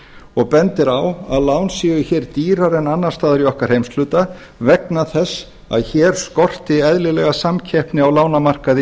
og bendir á að lán séu hér dýrari en annars staðar í okkar heimshluta vegna þess að hér skorti eðlilega samkeppni á lánamarkaði